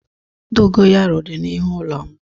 Dogo yaro di n'ihu ulo m